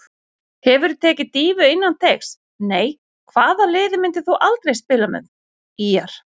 Hefurðu tekið dýfu innan teigs: Nei Hvaða liði myndir þú aldrei spila með: ÍR